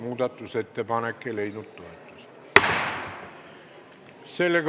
Muudatusettepanek ei leidnud toetust.